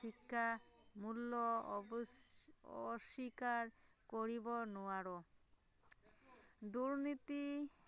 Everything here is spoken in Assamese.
শিক্ষাৰ মূল্য অৱশ্য়ে অস্ৱীকাৰ কৰিব নোৱাৰো, দুৰ্নীতি